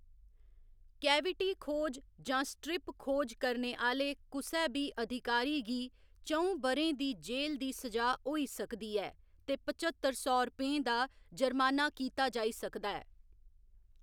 Cavity खोज जां strip खोज करने आह्‌‌‌ले कुसै बी अधिकारी गी च'ऊं ब'रें दी जेल दी स'जा होई सकदी ऐ ते पच्हत्तर सौ रपेंऽ दा जर्माना कीता जाई सकदा ऐ।